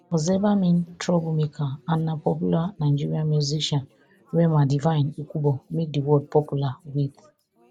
ozeba mean trouble maker and na popular nigerian musician rema divine ikubor make di word popular wit